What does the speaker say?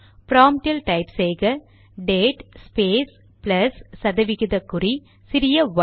ப்ராம்ட்டில் type செய்க date space plus சதவிகித குறி சிறிய ஒய்